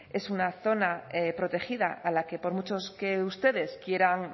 es una zona protegida a la que por mucho que ustedes quieran